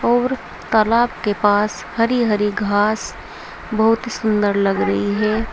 और तालाब के पास हरी हरी घास बहुत ही सुंदर लग रही है।